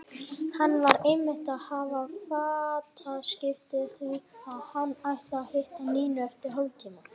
Hann var einmitt að hafa fataskipti því að hann ætlar að hitta Nínu eftir hálftíma.